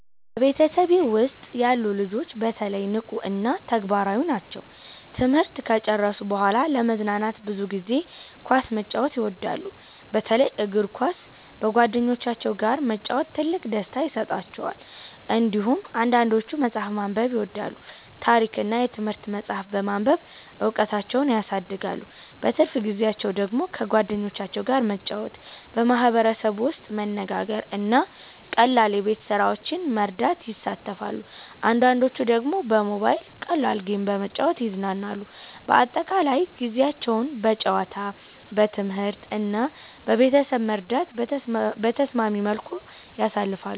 በቤተሰቤ ውስጥ ያሉ ልጆች በተለይ ንቁ እና ተግባራዊ ናቸው። ትምህርት ከጨረሱ በኋላ ለመዝናናት ብዙ ጊዜ ኳስ መጫወት ይወዳሉ፣ በተለይ እግር ኳስ በጓደኞቻቸው ጋር መጫወት ትልቅ ደስታ ይሰጣቸዋል። እንዲሁም አንዳንዶቹ መጽሐፍ ማንበብ ይወዳሉ፣ ታሪክ እና የትምህርት መጻሕፍት በማንበብ እውቀታቸውን ያሳድጋሉ። በትርፍ ጊዜያቸው ደግሞ ከጓደኞቻቸው ጋር መጫወት፣ በማህበረሰብ ውስጥ መነጋገር እና ቀላል የቤት ስራዎችን መርዳት ይሳተፋሉ። አንዳንዶቹ ደግሞ በሞባይል ቀላል ጌም በመጫወት ይዝናናሉ። በአጠቃላይ ጊዜያቸውን በጨዋታ፣ በትምህርት እና በቤተሰብ መርዳት በተስማሚ መልኩ ያሳልፋሉ።